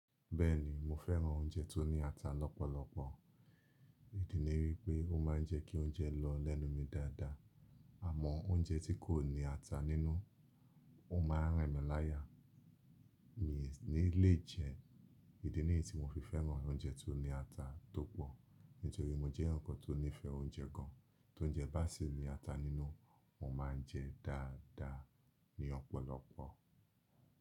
Bẹ́ẹ̀ni, mo fẹ́ràn oúnjẹ tó ní ata lọ́pọ̀lọpọ̀, idi ní wípé ó maa ń jẹ́ kí oúnjẹ lọ lẹ́nu mi dáadáa. Àmọ́ oúnjẹ tí kò ní ata nínú, ó maa ń rìn mí láyà. Mi ní le jẹ, idi ni yií tí mo fi fẹ́ràn oúnjẹ tó ní ata tó pọ̀. Nítorí mo jẹ́ èyán kan tó nífẹ̀ẹ́ oúnjẹ gan, tóúnjẹ bá sì ní ata nínú, mo máa jẹ dáadáa ni ọ̀pọ̀lọpọ̀.